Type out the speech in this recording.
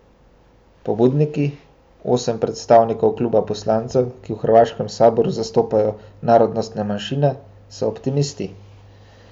Pobudniki, osem predstavnikov kluba poslancev, ki v hrvaškem saboru zastopajo narodnostne manjšine, so optimisti.